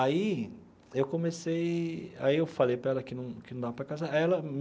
Aí eu comecei... Aí eu falei para ela que não que não dava para casar aí ela.